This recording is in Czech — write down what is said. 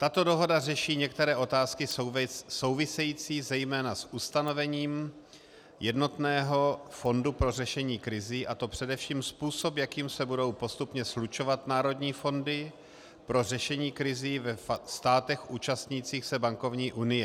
Tato dohoda řeší některé otázky související zejména s ustanovením jednotného fondu pro řešení krizí, a to především způsob, jakým se budou postupně slučovat národní fondy pro řešení krizí ve státech účastnících se bankovní unie.